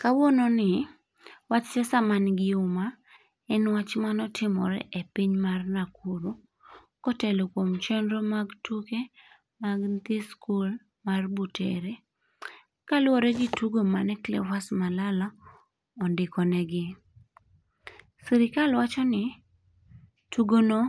Kawuono ni, wach siasa ma nigi umma, en wach mane otimore e piny mar Nakuru. Kotelo kuom chenro mag tuke mag nyithi skul mar Butere, kaluwore gi tugo mane Cleophas Malala ondiko negi. Sirkal wacho ni, tugo no,